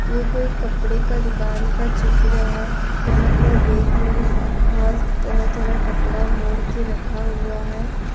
ये कोई कपडे का दुकान का चित्र है जहां पर रैक में बहुत तरह तरह का कपड़ा मोड के रखा हुआ है।